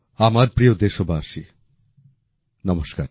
আমার প্রিয় দেশবাসী নমস্কার